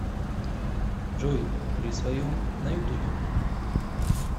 джой при своем на ютубе